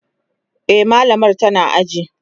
e mallamar tana cikin aji